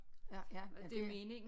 Ja ja ja det